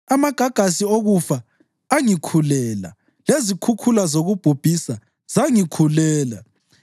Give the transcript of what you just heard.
Amagagasi okufa angikhulela; lezikhukhula zokubhubhisa zangikhulela.